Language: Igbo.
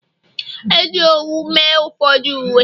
e ji owu mee ụfọdụ uwe